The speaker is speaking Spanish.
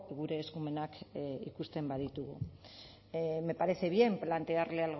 gure eskumenak ikusten baditugu me parece bien plantearle